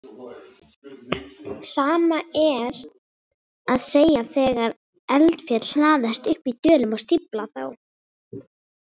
Sama er að segja þegar eldfjöll hlaðast upp í dölum og stífla þá.